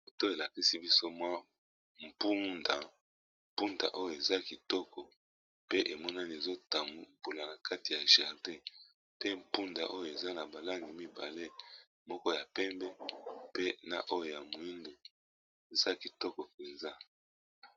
moto elakisi bisomwa mpundampunda oyo eza kitoko pe emonani ezotambola na kati ya jardin te mpunda oyo eza na balangi mibale moko ya pembe pe na oyo ya moindo eza kitoko mpenza